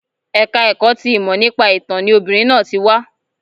Ẹ̀ka ẹ̀kọ́ ti ìmọ̀ nípa ìtán ni obìnrin náà ti wá